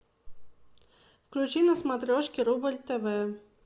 включи на смотрешке рубль тв